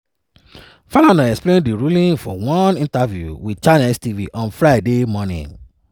falana explain di ruling for one interview wit channels tv on friday morning.